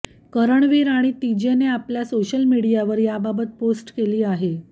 करणवीर आणि तीजेने आपल्या सोशल मीडियावर याबाबत पोस्ट केली आहे